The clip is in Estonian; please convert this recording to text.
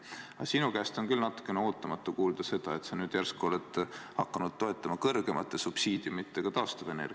Aga sinu käest on küll natukene ootamatu kuulda, et sa nüüd järsku oled hakanud toetama kõrgemate subsiidiumidega taastuvenergiat ...